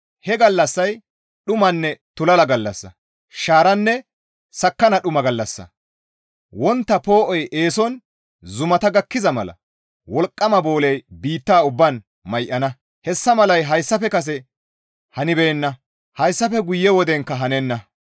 He gallassay dhumanne tulala gallassa; shaaranne sakkanna dhuma gallassa; wontta poo7oy eeson zumata gakkiza mala wolqqama booley biitta ubbaan may7ana; hessa malay hayssafe kase hanibeenna; hayssafe guyenkka wodenkka hanenna.